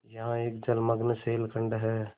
यहाँ एक जलमग्न शैलखंड है